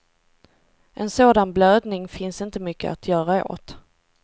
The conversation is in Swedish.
En sådan blödning finns inte mycket att göra åt.